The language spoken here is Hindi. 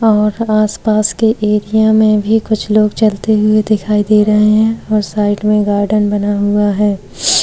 और आसपास के एरिया में भी कुछ लोग चलते हुये दिखाई रहे हैं और साइड में गार्डेन बना हुआ है।